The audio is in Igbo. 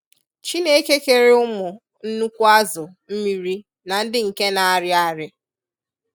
Chineke kere ụmụ nnukwu azụ mmiri na ndị nke na-arị arị.